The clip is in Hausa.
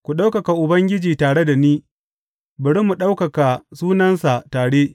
Ku ɗaukaka Ubangiji tare da ni; bari mu ɗaukaka sunansa tare.